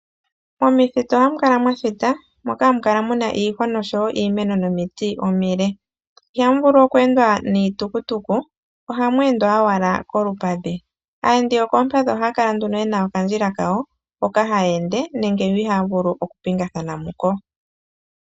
Momithitu ohamukala mwathita moka hamukala muna iihwa, oshowo iimeno nomiti omile. Ohamu vulu oku endwa niitukutuku ohamu endwa owala kolupadhi. Aayendi yokolupadhi ohaya kala nduno yena okandjila kawo hoka haya ende nenge yo ihaya vulu okupingathana muko.